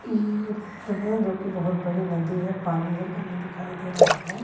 ये नहर हैजो कि बहुत बड़ी नदी है पानी ही पानी दिखाई दे रहा है।